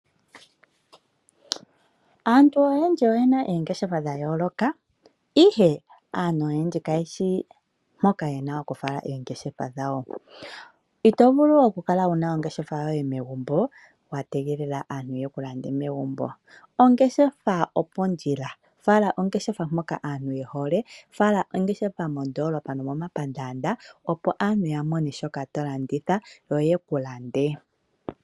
Aantu oyendji oye na ongeshefa dhayooloka okakele aantu kayeshi mpoka ye na okufala ongeshefa dhawo. Ito vulu okukala wu na ongeshefa megumbo wa tegelela aantu yeku lande megumbo . Ongeshefa opondjila, fala ongeshefa mpoka aantu ye hole mondoolopa osho wo momapandaanda opo yeku lande.